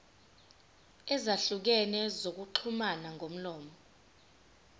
ezahlukene zokuxhumana ngomlomo